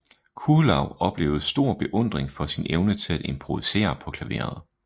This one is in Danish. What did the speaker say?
Kuhlau oplevede stor beundring for sin evne til at improvisere på klaveret